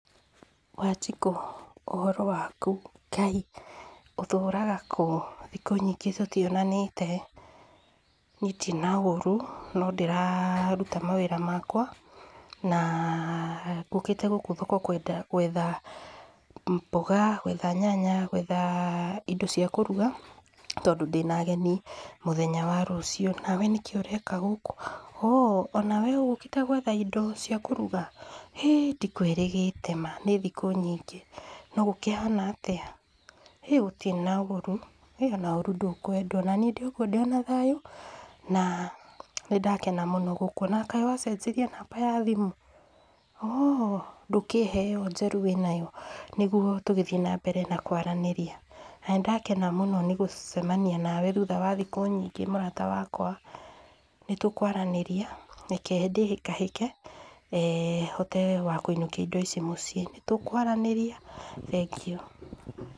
Wanjiku ũhoro waku, Ngai, ũtũraga kũu, thikũ nyingĩ tũtionanite, niĩ ndirĩ na ũru, no ndĩraruta mawĩra makwa, na ngũkĩte gũkũ thoko gwetha mboga, gwetha nyanya, gwetha indo cia kũruga, tondũ ndĩna ageni mũthenya wa rũcio, nawe nĩkĩ ũreka gũkũ, ooh onawe ũgũkĩte gwetha indo cia kũruga, hĩ ndikwĩrĩgĩte maa, nĩ thikũ nyingĩ no gũkĩhana atĩa, hĩ gũtirĩ na ũru, hĩ ona ũru ndũkwendwo, onaniĩ ndĩokwo ndĩona thayu, na nĩ ndakena mũno gũkuona, kaĩ wacenjirie namba ya thimũ, ooh ndũkĩhe ĩyo njerũ wĩnayo, nĩguo tũgĩthiĩ na mbere na kwaranĩria, na nĩ ndakena mũno nĩgũcemania nawe thutha wa thikũ nyingĩ mũrata wakwa, nĩ tũkwaranĩria, reke ndĩhĩkehĩke, eeh hote wakwĩinũkia indo ici mũciĩ, nĩ tũkwaranĩria, thengiũ.